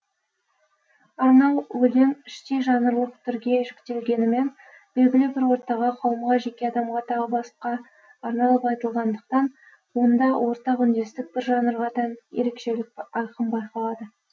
арнау өлең іштей жанрлық түрге жіктелгенімен белгілі бір ортаға қауымға жеке адамға тағы басқа арналып айтылғандықтан онда ортақ үндестік бір жанрға тән ерекшелік айқын байқалады